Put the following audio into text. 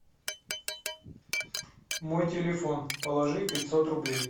мой телефон положи пятьсот рублей